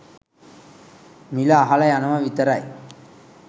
මිල අහල යනව විතරයි